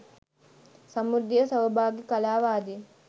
සමෘද්ධිය සෞභාග්‍ය කලාව ආදී